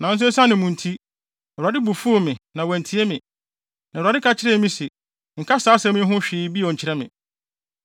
Nanso esiane mo nti, Awurade bo fuw me. Na wantie me. Na Awurade ka kyerɛɛ me se, “Nka saa asɛm yi ho hwee bio nkyerɛ me.